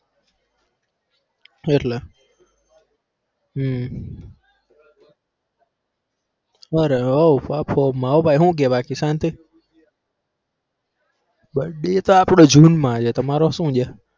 એટલે હમ બરાબર ભાઈ હું કહે બાકી શાંતિ birthday તો આપડો જૂનમાં છે. તમારો શું છે?